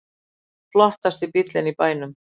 Flottasti bíll í bænum